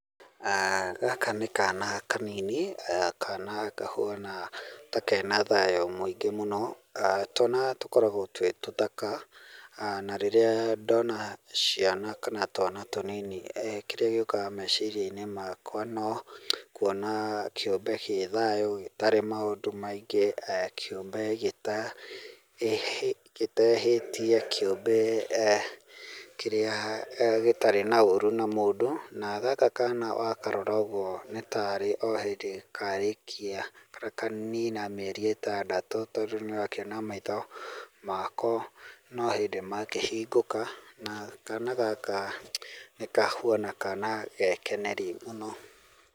gaka nĩ kana kanini, kana kahuana ta kena thayũ mũingĩ mũno aah twana tũkoragwo twĩ tũthaka aah na rĩrĩa ndona ciana kana twana tũnini kĩrĩa gĩũkaga meciria-inĩ makwa no kwona kĩũmbe gĩ thayũ gĩtarĩ maũndũ maingĩ, kĩũmbe gĩtehĩtie, kĩũmbe eeh kĩrĩa eeh gĩtarĩ na ũru na mũndũ na gaka kana wakarora ũguo no tarĩ o hĩndĩ karĩkia kana kanina mĩeri ĩtandatũ tondũ nĩũrakĩona maitho mako no hĩndĩ makĩhingũka na kana gaka nĩ kahuana kana gekeneri mũno.